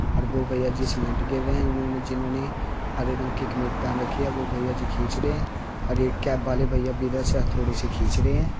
और वो भईया जी सीमेंट गेर रें हैं उन्होने जिन्होंने हरे रंग की कमीज पहन रखी है वो भईया जी खींच रें हैं और ये कैप वाले भैया भी इधर से हथोड़े से खींच रें हैं।